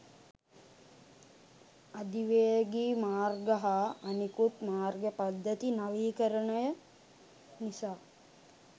අධිවේගී මාර්ග හා අනෙකුත් මාර්ග පද්ධති නවීකරණය නිසා